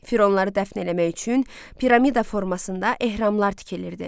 Fironları dəfn eləmək üçün piramida formasında ehramlar tikilirdi.